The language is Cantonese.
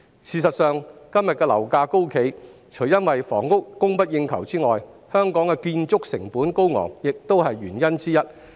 事實上，今天樓價高企，除因房屋供不應求外，香港的建築成本高昂亦是原因之一。